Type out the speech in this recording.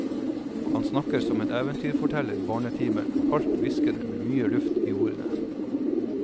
Han snakker som en eventyrforteller i barnetimen, halvt hviskende med mye luft i ordene.